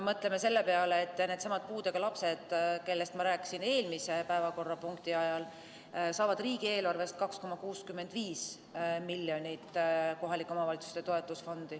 Mõtleme selle peale, et needsamad puudega lapsed, kellest ma rääkisin eelmise päevakorrapunkti ajal, saavad riigieelarvest 2,65 miljonit eurot kohalike omavalitsuste toetusfondi.